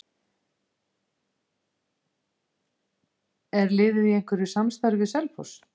Er liðið í einhverju samstarfi við Selfoss?